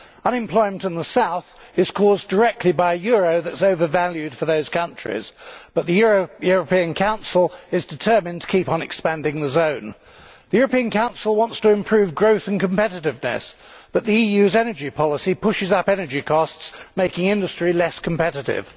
Unemployment in the South is caused directly by a euro that is over valued for those countries, but the European Council is determined to keep on expanding the zone. The European Council wants to improve growth and competitiveness, but the EU's energy policy pushes up energy costs, making industry less competitive.